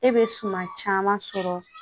E bɛ suman caman sɔrɔ